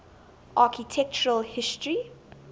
architectural history